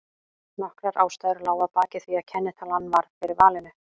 Nokkrar ástæður lágu að baki því að kennitalan varð fyrir valinu.